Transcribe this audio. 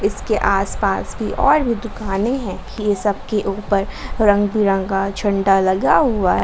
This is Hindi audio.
इसके आसपास भी और भी दुकानें है ये सब के ऊपर रंगबिरंगा झंडा लगा हुआ--